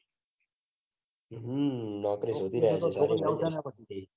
હમ નોકરી શોધી રહ્યા છીએ.